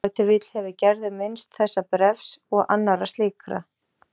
Ef til vill hefur Gerður minnst þessa bréfs og annarra slíkra